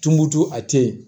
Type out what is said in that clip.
Tumuntu a te ye